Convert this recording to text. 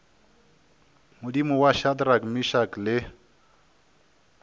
modimo wa shadrack meshack le